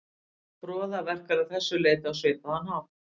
Froða verkar að þessu leyti á svipaðan hátt.